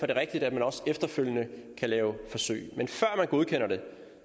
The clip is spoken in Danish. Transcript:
det rigtigt at man også efterfølgende kan lave forsøg men før man godkender det